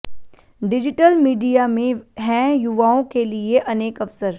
digital media में हैं युवाओं के लिये अनेक अवसर